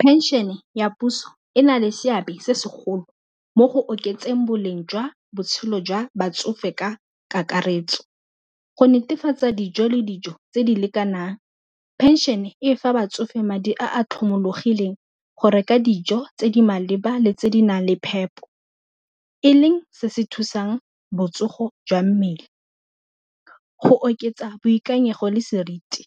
Phenšene ya puso e na le seabe se segolo mo go oketseng boleng jwa botshelo jwa batsofe ka kakaretso go netefatsa dijo le dijo tse di lekanang phenšene e fa ba tsofe madi a a tlhomologileng go reka dijo tse di maleba le tse di nang le phepo e leng se se thusang botsogo jwa mmele, go oketsa boikanyego le seriti.